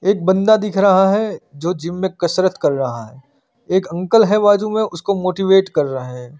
एक बंदा दिख रहा है जो जिम में कसरत कर रहा है एक अंकल है बाजू में उन्हें मोटीवेट कर रहे हैं।